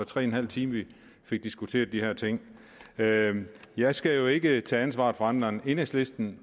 tre en halv time vi fik diskuteret de her ting jeg skal jo ikke tage ansvaret for andre end enhedslisten